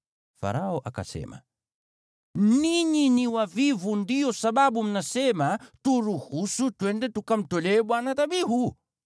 Farao akasema, “Ninyi ni wavivu ndiyo sababu mnasema, ‘Turuhusu twende tukamtolee Bwana dhabihu.’